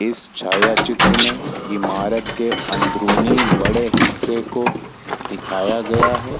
इस छायाचित्र में इमारत के अंदरुनी बड़े हिस्सों को दिखाया गया है।